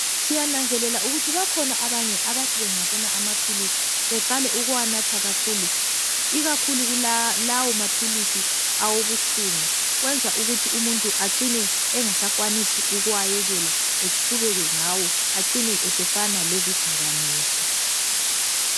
Siyananzelela ukuthi bakhona abanye abathi bengabona amaphilisi beqale ukuwanatha kakhulu ikakhulu lawo maphilisi awobuhlungu kwenza ukuthi umuntu acine engasakwanisi ukuwayekela eqhubeke ngawo acine esefana lezidakamizwa.